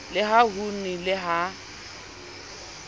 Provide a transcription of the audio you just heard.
le ha ho nnile ha